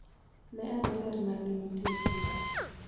Ne ane ler ma ne nitie e brooder.